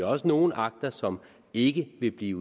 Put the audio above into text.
også nogle akter som ikke vil blive